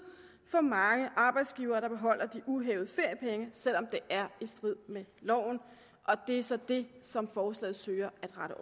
for mange arbejdsgivere der beholder de uhævede feriepenge selv om det er i strid med loven og det er så det som forslaget søger at rette